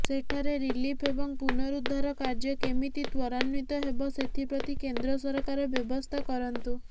ସେଠାରେ ରିଲିଫ୍ ଏବଂ ପୁନରୁଦ୍ଧାର କାର୍ଯ୍ୟ କେମିତି ତ୍ୱରାନ୍ୱିତ ହେବ ସେଥିପ୍ରତି କେନ୍ଦ୍ର ସରକାର ବ୍ୟବସ୍ଥା କରନ୍ତୁ